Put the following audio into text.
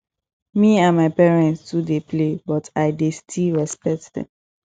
me and my parents too dey play but i dey still respect dem